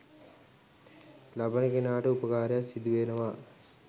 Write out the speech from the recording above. ලබන කෙනාට උපකාරයක් සිදුවෙනවා.